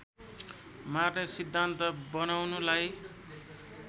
मार्ने सिद्धान्त बनाउनुलाई